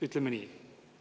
Ütleme nii.